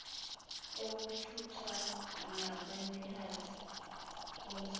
okuthutha nabanikazi bomsebenzi